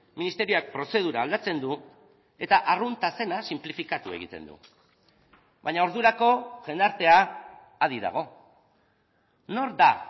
ministerioak prozedura aldatzen du eta arrunta zena sinplifikatu egiten du baina ordurako jendartea adi dago nor da